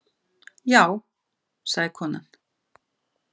Já, sagði konan.